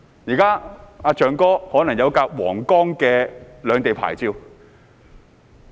現在"象哥"可能有一輛通行皇崗的兩地牌照汽車。